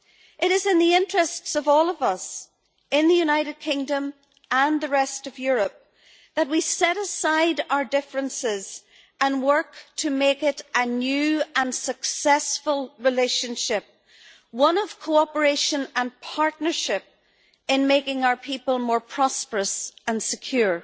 It is in the interests of all of us, in the United Kingdom and the rest of Europe, that we set aside our differences and work to make it a new and successful relationship, one of cooperation and partnership, in making our people more prosperous and secure.